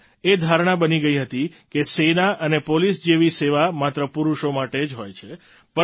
પહેલાં એ ધારણા બની ગઈ હતી કે સેના અને પોલીસ જેવી સેવા માત્ર પુરુષો માટે જ હોય છે